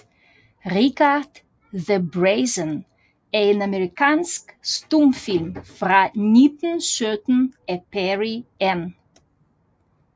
Richard the Brazen er en amerikansk stumfilm fra 1917 af Perry N